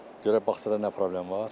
Görək bağçada nə problem var.